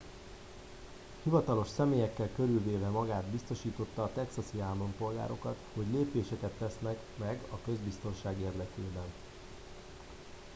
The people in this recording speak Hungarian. hivatalos személyekkel körülvéve magát biztosította a texasi állampolgárokat hogy lépéseket tesznek meg a közbiztonság érdekében